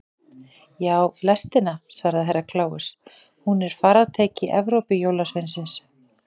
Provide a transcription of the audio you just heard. Já, lestina, svaraði Herra Kláus, hún er faratæki Evrópujólasveinsins.